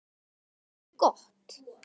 Sem er gott.